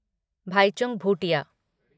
Bhaichung Bhutia